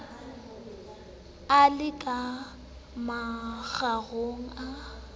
a le ka mokgorong a